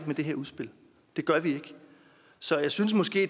med det her udspil det gør vi ikke så jeg synes måske